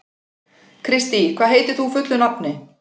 Kristý, hvað heitir þú fullu nafni?